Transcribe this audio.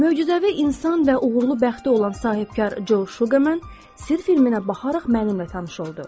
Möcüzəvi insan və uğurlu bəxti olan sahibkar Co Şuqerman, Sirr filminə baxaraq mənimlə tanış oldu.